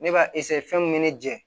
Ne b'a fɛn min bɛ ne jɛ